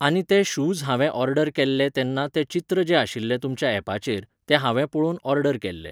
आनी ते शूज हांवें ऑर्डर केल्ले तेन्ना तें चित्र जें आशिल्लें तुमच्या एपाचेर, तें हांवें पळोवन ऑर्डर केल्ले.